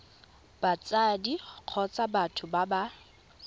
batsadi kgotsa batho ba ba